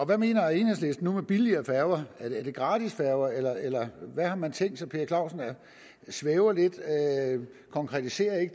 hvad mener enhedslisten nu med billigere færger er det gratisfærger eller eller hvad har man tænkt sig herre per clausen svæver lidt konkretiserer